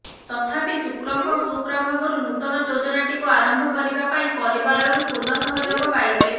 ତଥାପି ଶୁକ୍ରଙ୍କ ସୁପ୍ରଭାବରୁ ନୂତନ ଯୋଜନାଟିକୁ ଆରମ୍ଭ କରିବା ପାଇଁ ପରିବାରରୁ ପୂର୍ଣ୍ଣ ସହଯୋଗ ପାଇବେ